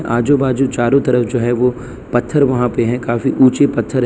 आजू बाजू चारों तरफ जो है वो पत्थर वहां पे हैं काफी ऊंचे पत्थर--